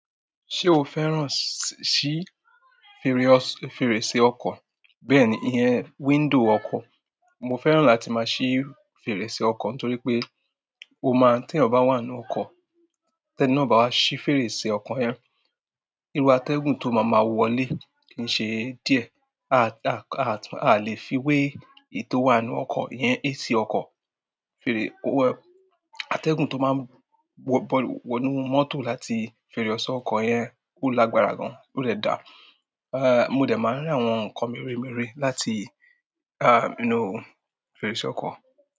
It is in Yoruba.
Ṣé o fẹ́ràn ṣí fèrèsè ọkọ̀? Bẹ́ẹ̀ni, ìyẹn window ọkọ̀. Mo fẹ́ràn láti máa ṣí fèrèsè ọkọ̀ nítorí pé ó máa ń tí ọ̀ bá wà nínú ọkọ̀, tẹ́ni náà o bá wá ṣí fèrèsè ọkọ̀ yẹn, irú atẹ́gùn tó máa ma wọlé kì í ṣe díẹ̀. A, a, a lè fi wé ẹ̀yi to wà nínú ọkọ̀ iyẹn AC ọkọ̀. Fèrè, atẹ́gùn tó máa ń bọ, bọ, wọ inú mọ́tò láti fèrèsé ọkọ̀ yẹn ó lágbára gan, ó rẹ dà. Eh, mo dẹ̀ máa rí àwọn nǹkan mèremère láti, ah, inú fèrèsé ọkọ̀.